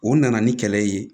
O nana ni kɛlɛ ye